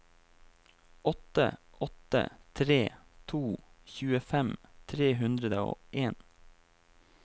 åtte åtte tre to tjuefem tre hundre og en